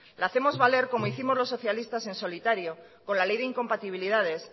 la hacemos valer como hicimos los socialistas en solitario con la ley de incompatibilidades